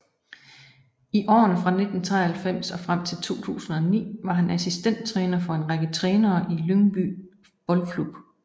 I årene fra 1993 og frem til 2009 var han assistent træner for en række trænere i Lyngby Boldklub